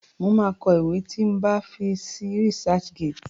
Mo máa kọ ìwé tí máa fi sí Researchgate